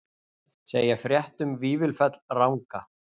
Segja frétt um Vífilfell ranga